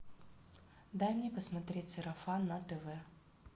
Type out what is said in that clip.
дай мне посмотреть сарафан на тв